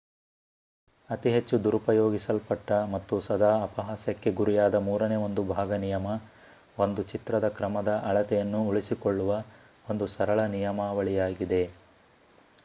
ಅತಿ ಹೆಚ್ಚು ದುರುಪಯೋಗಿಸಲ್ಪಟ್ಟ ಮತ್ತು ಸದಾ ಅಪಹಾಸ್ಯಕ್ಕೆ ಗುರಿಯಾದ ಮೂರನೇ ಒಂದು ಭಾಗ ನಿಯಮ ಒಂದು ಚಿತ್ರದ ಕ್ರಮದ ಅಳತೆಯನ್ನು ಉಳಿಸಿಕೊಳ್ಳುವ ಒಂದು ಸರಳ ನಿಯಮಾವಳಿಯಾಗಿದೆ